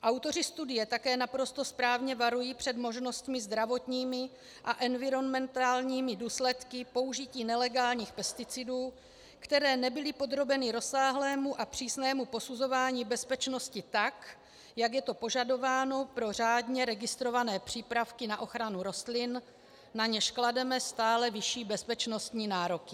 Autoři studie také naprosto správně varují před možnostmi zdravotními a environmentálními důsledky použití nelegálních pesticidů, které nebyly podrobeny rozsáhlému a přísnému posuzování bezpečnosti, tak jak je to požadováno pro řádně registrované přípravky na ochranu rostlin, na něž klademe stále vyšší bezpečnostní nároky.